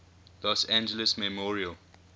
los angeles memorial